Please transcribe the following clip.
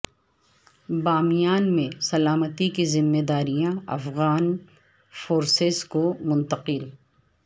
بامیان میں سلامتی کی ذمہ داریاں افغان فورسز کو منتقل